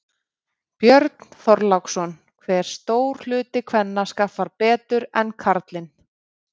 Björn Þorláksson: Hve stór hluti kvenna skaffar betur en karlinn?